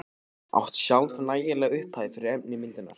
Átti sjálf nægilega upphæð fyrir efni í myndirnar.